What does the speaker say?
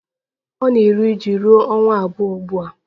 Ọ na-eru uju ruo ọnwa abụọ ugbu a